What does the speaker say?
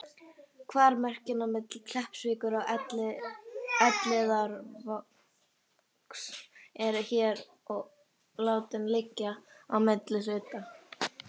Hvar mörkin á milli Kleppsvíkur og Elliðaárvogs eru, er hér látið liggja á milli hluta.